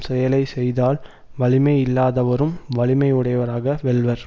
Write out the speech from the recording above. செயலை செய்தால் வலிமை இல்லாதவறும் வலிமை உடையவராக வெல்வர்